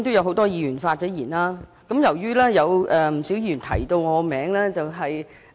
很多議員已經發言，不少議員也提到我的名字。